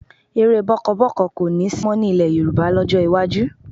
Eré bọ́ọ́kọbọ́ọ̀kọ kò ní sí mọ́ nílẹ̀ Yorùbá lọ́jọ́ iwájú